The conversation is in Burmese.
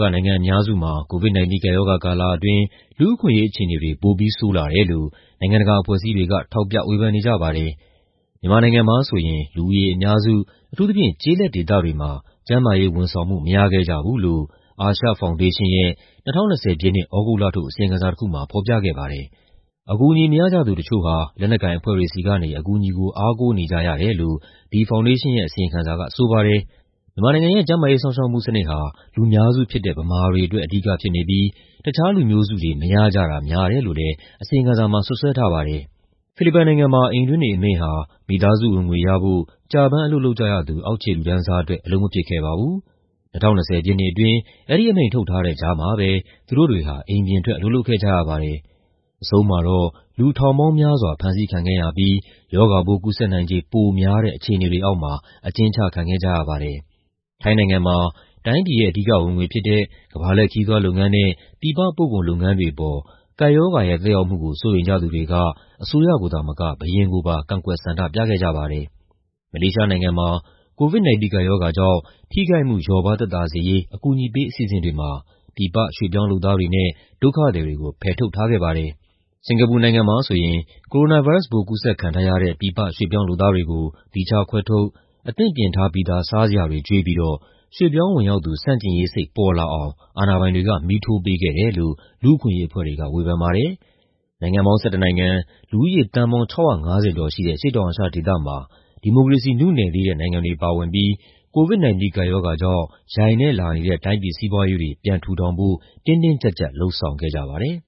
က နိုင်ငံအများစုမှာ COVID-19 ကပ်ရောဂါကာလအတွင်း လူ့အခွင့်အရေးအခြေအနေတွေ ပိုပြီးဆိုးရွားလာတယ်လို့ နိုင်ငံတကာအဖွဲ့အစည်းတွေက ထောက်ပြဝေဖန်နေကြပါတယ်။ မြန်မာနိုင်ငံမှာဆိုရင် လူဦးရေအများစု၊ အထူးသဖြင့် ကျေးလက်ဒေသတွေမှာ ကျန်းမာရေးဝန်ဆောင်မှု မရခဲ့ကြဘူးလို့ အာရှဖောင်ဒေးရှင်းရဲ့ ၂၀၂၀ ပြည့်နှစ် သြဂုတ်လထုတ် အစီရင်ခံစာတခုမှာ ဖော်ပြခဲ့ပါတယ်။ အကူအညီ မရကြသူတချို့ဟာ လက်နက်ကိုင်အဖွဲ့တွေဆီက အကူအညီကို အားကိုးနေကြရတယ်လို့ ဒီဖောင်ဒေးရှင်းရဲ့ အစီရင်ခံစာက ဆိုပါတယ်။ မြန်မာနိုင်ငံရဲ့ ကျန်းမာရေးစောင့်ရှောက်မှုစနစ်ဟာ လူများစုဖြစ်တဲ့ ဗမာတွေအတွက် အဓိကဖြစ်နေပြီး တခြားလူမျိုးစုတွေ မရကြတာများတယ်လို့လည်း အစီရင်ခံစာမှာ စွပ်စွဲထားပါတယ်။ ဖိလစ်ပိုင်နိုင်ငံမှာ အိမ်တွင်းနေအမိန့်ဟာ မိသားစုဝင်ငွေအတွက် ကျပန်းအလုပ်လုပ်ကြရသူ အောက်ခြေလူတန်းစားအတွက် အလုပ်မဖြစ်ခဲ့ပါဘူး။ ၂၀၂၀ ပြည့်နှစ်အတွင်း အဲဒီအမိန့်ထုတ်ထားတဲ့ကြားမှာပဲ သူတို့တွေဟာ အိမ်ပြင်ထွက် အလုပ်လုပ်ခဲ့ကြရပါတယ်။ အဆုံးမှာတော့ လူထောင်ပေါင်းများစွာ ဖမ်းဆီးခံခဲ့ရပြီး ရောဂါပိုးကူးစက်နိုင်ခြေပိုများတဲ့ အခြေအနေတွေအောက်မှာ အကျဉ်းချခံခဲ့ကြရပါတယ်။ ထိုင်းနိုင်ငံမှာ တိုင်းပြည်ရဲ့ အဓိကဝင်ငွေဖြစ်တဲ့ ကမ္ဘာလှည့်ခရီးသွားလုပ်ငန်းနဲ့ ပြည်ပပို့ကုန်လုပ်ငန်းတွေအပေါ် ကပ်ရောဂါရဲ့သက်ရောက်မှုကို စိုးရိမ်ကြသူတွေက အစိုးရကိုသာမက ဘုရင်ကိုပါ ကန့်ကွက် ဆန္ဒပြခဲ့ကြပါတယ်။ မလေးရှားနိုင်ငံမှာ COVID-19 ကပ်ရောဂါကြောင့် ထိခိုက်မှု လျော့ပါးသက်သာစေရေး အကူအညီပေး အစီအစဉ်တွေမှာ ပြည်ပ ရွှေ့ပြောင်းလုပ်သားတွေနဲ့ ဒုက္ခသည်တွေကို ဖယ်ထုတ်ထားခဲ့ပါတယ်။ စင်္ကာပူနိုင်ငံမှာဆိုရင် ကိုရိုနာဗိုင်းရပ်စ်ပိုး ကူးစက်ခံထားရတဲ့ ပြည်ပရွှေ့ပြောင်းလုပ်သားတွေကို သီးခြားခွဲထုတ်၊ အသင့်ပြင်ထားပြီးသား စားစရာတွေကျွေးပြီးတော့ ရွှေ့ပြောင်းဝင်ရောက်သူ ဆန့်ကျင်ရေးစိတ်ပေါ်လာအောင် အာဏာပိုင်တွေက မီးထိုးပေးခဲ့တယ်လို့ လူ့အခွင့်အရေးအဖွဲ့တွေက ဝေဖန်ပါတယ်။ နိုင်ငံပေါင်း ၁၁ နိုင်ငံ၊ လူဦးရေ သန်းပေါင်း ၆၅၀ ကျော်ရှိတဲ့ အရှေ့တောင်အာရှဒေသမှာ ဒီမိုကရေစီနုနယ်သေးတဲ့ နိုင်ငံတွေပါဝင်ပြီး COVID-19 ကပ်ရောဂါကြောင့် ယိုင်နဲ့လာနေတဲ့ တိုင်းပြည်စီးပွားရေးတွေ ပြန်ထူထောင်ဖို့ တင်းတင်းကြပ်ကြပ် လုပ်ဆောင်ခဲ့ကြပါတယ်။